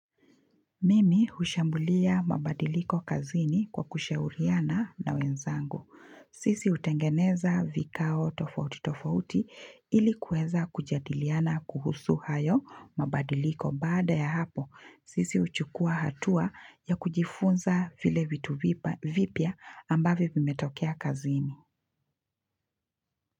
Mimi hushambulia mabadiliko kazini kwa kushauriana na wenzangu. Sisi hutengeneza vikao tofauti tofauti ilikuweza kujadiliana kuhusu hayo mabadiliko baada ya hapo. Sisi huchukua hatua ya kujifunza vile vitu vipya ambavyo vimetokea kazini.